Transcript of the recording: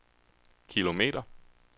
kilometer